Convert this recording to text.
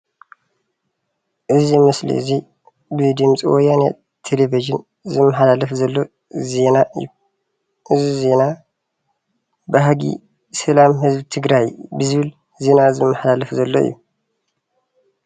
እዚ ምስሊ እዚ ብድምፂ ወያነ ቴሌቪዥን ዝመሓላለፍ ዘሎ ዜና እዩ። እዚ ዜና ባህጊ ሰላም ህዝቢ ትግራይ ብዝብል ዜና ዝመሓላለፍ ዘሎ እዩ።